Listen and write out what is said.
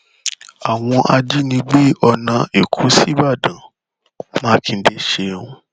àwọn ajínigbé ọnà ẹkọ síbàdàn mákindè ṣeun